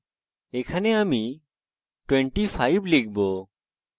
আমি 25 লিখবো